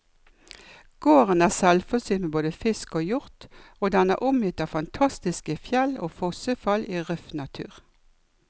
Gården er selvforsynt med både fisk og hjort, og den er omgitt av fantastiske fjell og fossefall i røff natur.